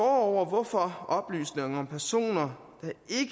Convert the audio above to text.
hvorfor oplysninger om personer